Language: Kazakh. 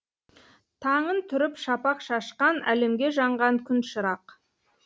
таңын түріп шапақ шашқан әлемге жанған күн шырақ